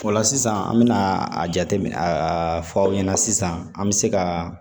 O la sisan an bɛna a jateminɛ a fɔ aw ɲɛna sisan an bɛ se ka